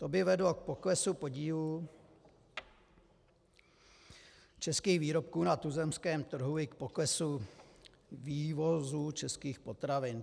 To by vedlo k poklesu podílu českých výrobků na tuzemském trhu i k poklesu vývozu českých potravin.